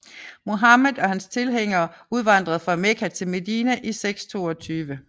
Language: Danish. Muhammed og hans tilhængeres udvandring fra Mekka til Medina i 622